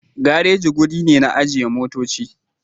Gareji wuri ne na ajiyan motocci.